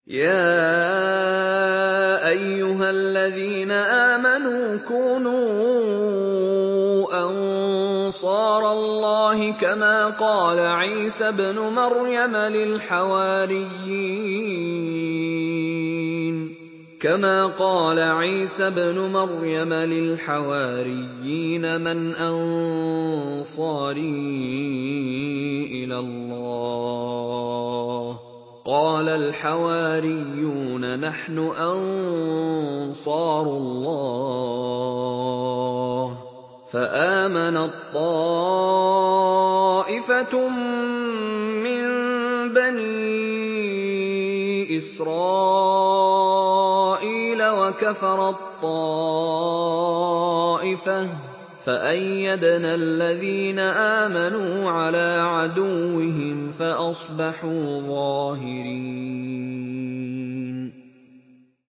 يَا أَيُّهَا الَّذِينَ آمَنُوا كُونُوا أَنصَارَ اللَّهِ كَمَا قَالَ عِيسَى ابْنُ مَرْيَمَ لِلْحَوَارِيِّينَ مَنْ أَنصَارِي إِلَى اللَّهِ ۖ قَالَ الْحَوَارِيُّونَ نَحْنُ أَنصَارُ اللَّهِ ۖ فَآمَنَت طَّائِفَةٌ مِّن بَنِي إِسْرَائِيلَ وَكَفَرَت طَّائِفَةٌ ۖ فَأَيَّدْنَا الَّذِينَ آمَنُوا عَلَىٰ عَدُوِّهِمْ فَأَصْبَحُوا ظَاهِرِينَ